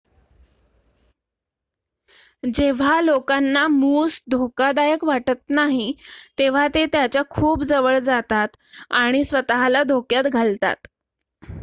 जेव्हा लोकांना मूस धोकादायक वाटत नाही तेव्हा ते त्याच्या खूप जवळ जातात आणि स्वत:ला धोक्यात घालतात